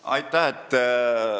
Aitäh!